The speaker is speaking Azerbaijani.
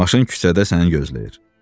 Maşın küçədə səni gözləyir.